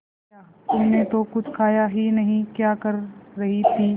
ये क्या तुमने तो कुछ खाया ही नहीं क्या कर रही थी